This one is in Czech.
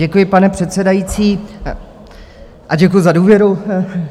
Děkuji, pane předsedající, a děkuji za důvěru.